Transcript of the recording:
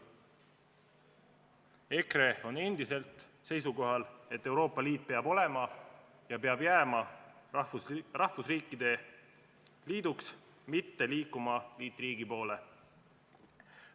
EKRE on endiselt seisukohal, et Euroopa Liit peab olema ja jääma rahvusriikide liiduks, mitte liikuma liitriigi poole.